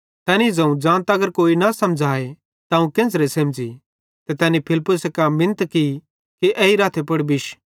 तैनी ज़ोवं ज़ां तगर कोई मीं न समझ़ाए त अवं केन्च़रे सेमझ़ी ते तैनी फिलिप्पुसे कां मिनत की कि एई रथे पुड़ बिश